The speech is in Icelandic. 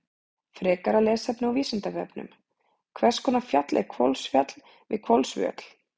Frekara lesefni á Vísindavefnum: Hvers konar fjall er Hvolsfjall við Hvolsvöll?